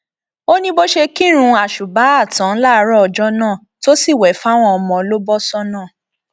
ó ní bó ṣe kírun àṣubàá tán láàárọ ọjọ náà tó sì wẹ fáwọn ọmọ ló bọ sọnà